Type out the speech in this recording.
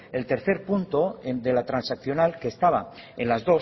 el tercer punto de la transaccional que estaba en las